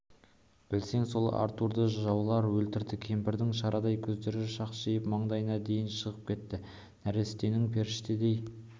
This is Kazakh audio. білсең сол артурды жаулар өлтірді кемпірдің шарадай көздері шақшиып маңдайына дейін шығып кетті нәрестенің періштедей